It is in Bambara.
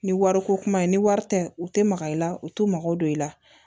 Ni wariko kuma in ni wari tɛ u tɛ maga i la u t'u mago don i la